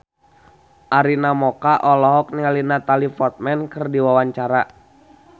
Arina Mocca olohok ningali Natalie Portman keur diwawancara